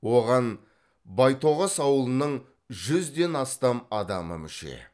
оған байтоғас ауылының жүзден астам адамы мүше